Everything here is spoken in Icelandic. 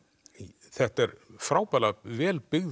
þetta er frábærlega vel byggð